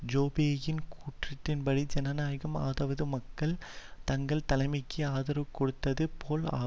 ஜோபேயின் கூற்றின்படி ஜனநாயகம் அதாவது மக்கள் தங்கள் தலைமைக்கு ஆதரவு கொடுத்தது போல் ஆ